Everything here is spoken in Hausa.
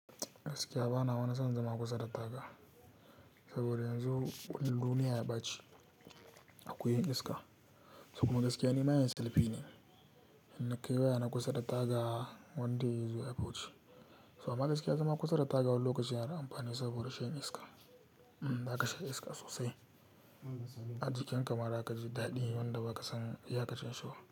Gaskiya bana wani san zama kusa da taga saboda yanzu duniya ya baci. Akwai yan iska. Sukuna gaskiya ne, ma yana selfie ne. Hannun kai waya na kusa da taga wanda izuwa ya fiwuce. So a magaskiya zama kusa da taga wani lokacin yana amfani saboda rashin iska. Mm, baka sha iska sosai. A jikin ka mara ka ji daɗi wanda baka san ya ka ci shigo.